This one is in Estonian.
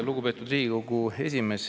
Lugupeetud Riigikogu esimees!